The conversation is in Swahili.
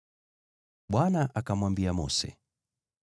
Bwana akamwambia Mose,